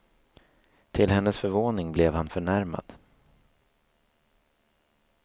Till hennes förvåning blev han förnärmad.